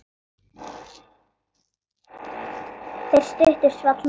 Þeirri stuttu svall móður.